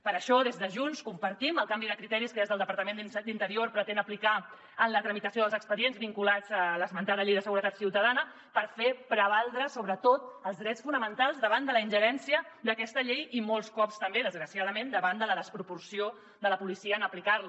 per això des de junts compartim el canvi de criteris que des del departament d’interior es pretén aplicar en la tramitació dels expedients vinculats a l’esmentada llei de seguretat ciutadana per fer prevaldre sobretot els drets fonamentals davant de la ingerència d’aquesta llei i molts cops també desgraciadament davant de la desproporció de la policia en aplicar·la